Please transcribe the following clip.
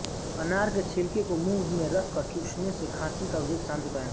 अनार के छिलके को मुंह में रखकर चूसने से खांसी का वेग शांत होता है